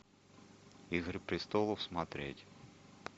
игры престолов смотреть